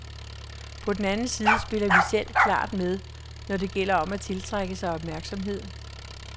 På den anden side spiller vi selv klart med, når det gælder om at tiltrække sig opmærksomhed.